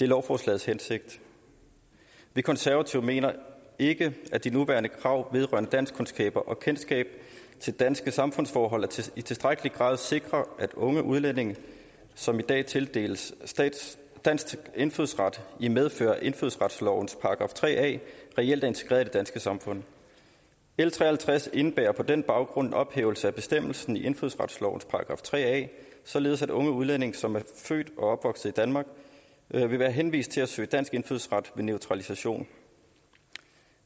lovforslaget vi konservative mener ikke at de nuværende krav vedrørende danskkundskaber og kendskab til danske samfundsforhold i tilstrækkelig grad sikrer at unge udlændinge som i dag tildeles dansk indfødsret i medfør af indfødsretslovens § tre a reelt er integreret i det danske samfund l tre og halvtreds indebærer på den baggrund en ophævelse af bestemmelsen i indfødsretslovens § tre a således at unge udlændinge som er født og opvokset danmark vil være henvist til at søge dansk indfødsret ved naturalisation